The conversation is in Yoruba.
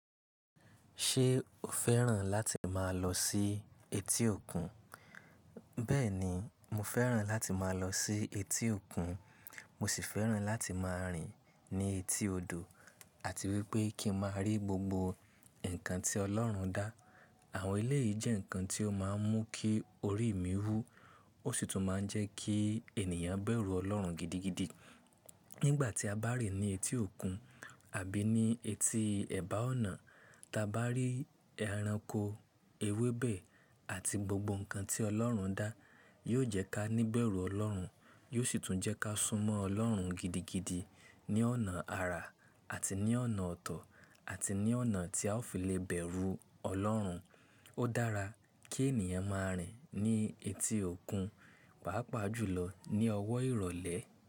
Ṣé o fẹ́ràn láti máa lọ sí etí òkun? Bẹ́ẹ̀ni, mo fẹ́ràn láti máa lọ sí etí òkun. Mo sì fẹ́ràn láti máa rìn ní etí odò àti wípé kí n máa rí gbogbo ǹkan tí Ọlọ́run dá. Àwọn elé yì jẹ́ ǹkan tí ó máa ń mú kí orí mi wú. Ó sì tún máa ń jẹ́ kí ènìyàn bẹ̀rù Ọlọ́run gidigidi. Nígbà tí a bá rìn ní etí òkun àbí ní etí ẹ̀bá ọ̀nà, táa bá rí ẹranko, ewébẹ̀ àti gbogbo ǹkan tí Ọlọ́run dá, yóò jẹ́ ká níbẹ̀rù Ọlọ́run, yóò sì tún jẹ́ ká súnmọ́ Ọlọ́run gidigidi ní ọ̀nà àrà àti ní ọ̀nà ọ̀tọ̀ àti ní ọ̀nà tí a ó fi le bẹ̀rù Ọlọ́run. Ó dára kí ènìyàn máa rìn ní etí òkun, pàápàá jùlọ ní ọwọ́ ìrọ̀lẹ́